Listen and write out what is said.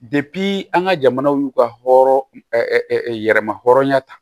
an ka jamanaw y'u ka hɔrɔn yɛrɛma hɔrɔnya ta